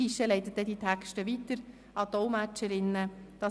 Das Guichet leitet dann die Texte an die Dolmetscherinnen weiter.